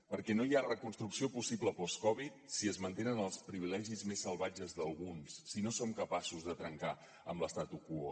perquè no hi ha reconstrucció possible post covid si es mantenen els privilegis més salvatges d’alguns si no som capaços de trencar amb l’statu quo